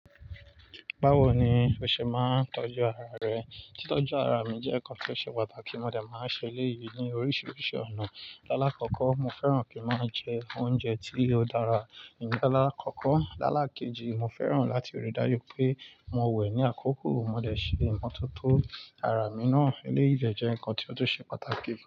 Báwo ni o ṣe máa ń tọ́jú ara rẹ? Títọ́jú ara mi jẹ́ nǹkan tí ó ṣe pàtàkì, mo dà máa ń ṣe léyìí ní oríṣiríṣi ọ̀nà. Lálákọ̀ọ́kọ́, mo fẹ́ràn kí ń máa jẹ oúnjẹ tí ó dára ní lálákọ̀ọ́kọ́. Lálákéjì, mo fẹ́ràn láti rí dájú pé mo wẹ̀ ní àkókò mo dẹ̀ ṣe ìmọ́tótó ara mi náà. Eléyìí jẹ́ nǹkan tí ó tún ṣe pàtàkì púpọ̀